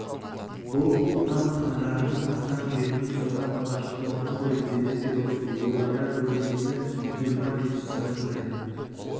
бұл қоқан хандарының қазақ жеріне салған алғашқы қорғаны ғой деді перовский ойлана көлденеңі жиырма бес сажындай